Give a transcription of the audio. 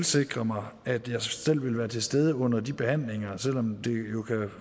sikre mig at jeg selv vil være til stede under de behandlinger